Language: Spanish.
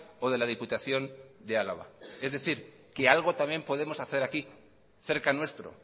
o de la diputación de álava es decir que algo también podemos hacer aquí cerca nuestro